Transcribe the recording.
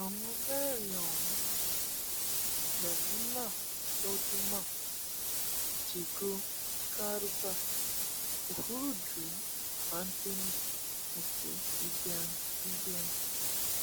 àwọn mẹrin ọhún ni mémúnà söldiman jígo garba òfurudú anthony àti ibiang ibiang